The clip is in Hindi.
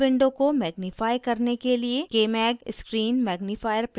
मैं console window को magnify करने के लिए kmag screen magnifier प्रयोग कर रही हूँ